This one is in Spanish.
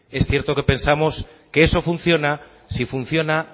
es cierto que pensamos que eso funciona si funciona